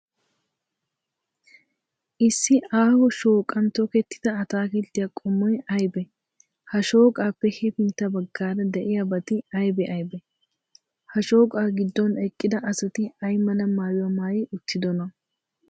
Issi aaho shooqan tokkettida ataakilttiya qommoy aybee? Ha shooqaappe hefintta baggaara de'iyaabati aybee aybee? Ha shooqaa giddon eqqida asati ay mala maayuwa maayi uttidonaa?